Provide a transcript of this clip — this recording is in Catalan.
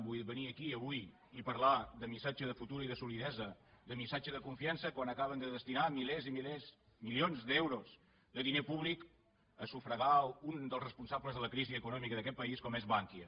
vull dir venir aquí avui i parlar de missatge de futur i de solidesa de missatge de confiança quan acaben de destinar milers i milers milions d’euros de diner públic a sufragar un dels responsables de la crisi econòmica d’aquest país com és bankia